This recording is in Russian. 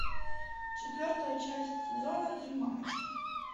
четвертая часть сезона три мамочки